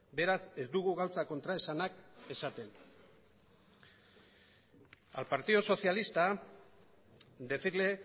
beraz ez dugu gauzak kontraesanak esaten al partido socialista decirle